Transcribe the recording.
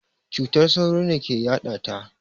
Cutar sauro ne ke yaɗata.